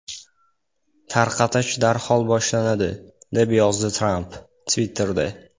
Tarqatish darhol boshlanadi”, – deb yozdi Tramp Twitter’da.